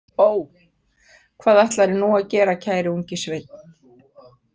Ó, hvað ætlarðu nú að gera, kæri ungi sveinn?